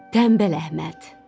Tənbəl Əhməd.